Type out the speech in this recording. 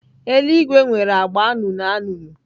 Eluigwe nwere agba anụnụ anụnụ.